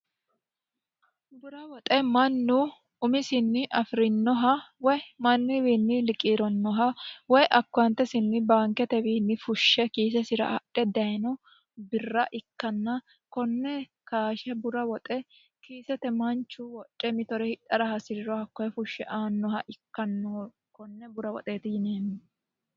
Bura woxe mannu umisini afirinoha mannuwinni liqiranoha woyi akowatesinni baankete fushe kiisete adhe dayino birra ikkanna kone kashe bura woxe manchu mitore hidhara hasiriro hakkoe fushe aanoha ikkano wone bura woxeti yine woshineemmo.